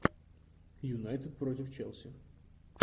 юнайтед против челси